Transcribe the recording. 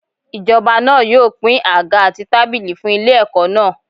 Ijoba náà yóò pín àga àti tábìlì fún ilé ẹ̀kọ́ náà.